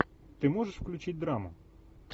ты можешь включить драму